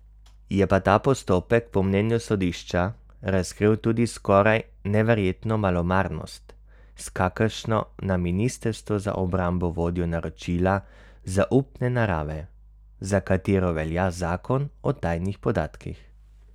Je pa ta postopek po mnenju sodišča razkril tudi skoraj neverjetno malomarnost, s kakršno na ministrstvu za obrambo vodijo naročila zaupne narave, za katera velja zakon o tajnih podatkih.